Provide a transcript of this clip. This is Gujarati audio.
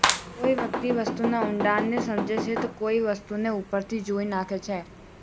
કોઈ વ્યક્તિ વસ્તુના ઊંડાણને સમજે છે તો કોઈ વસ્તુને ઉપરથી જોઈ નાખે છે